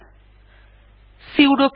enter টিপলাম